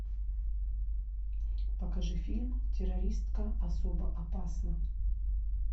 покажи фильм террористка особо опасна